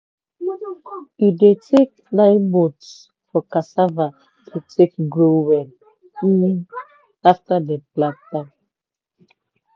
e dey take nine months for cassava to take grow well um after dem plant am.